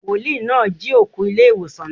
Wòlíì náà jí òkú ilé ìwòsàn náà.